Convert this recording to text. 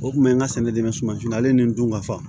O kun bɛ n ka sɛnɛ dɛmɛ sumansi ale ni dun ka fa